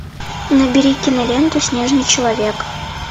набери киноленту снежный человек